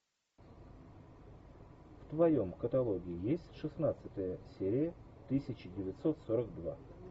в твоем каталоге есть шестнадцатая серия тысяча девятьсот сорок два